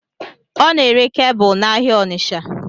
Ọ n'ere kebụl n'ahịa Ọnitsha